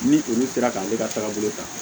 Ni olu sera k'ale ka tagabolo ta